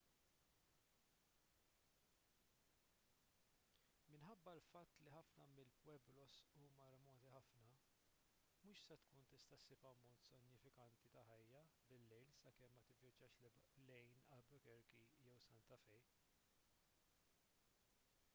minħabba l-fatt li ħafna mill-pueblos huma remoti ħafna mhux se tkun tista' ssib ammont sinifikanti ta' ħajja bil-lejl sakemm ma tivvjaġġax lejn albuquerque jew santa fe